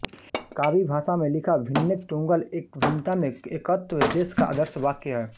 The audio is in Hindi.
कावी भाषा में लिखा भिन्नेक तुंग्गल इक भिन्नता में एकत्व देश का आदर्श वाक्य है